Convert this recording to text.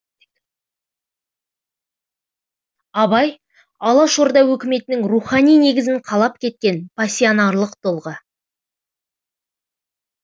абай алаш орда өкіметінің рухани негізін қалап кеткен пассионарлық тұлға